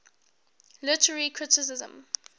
literary criticism